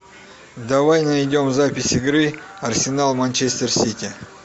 давай найдем запись игры арсенал манчестер сити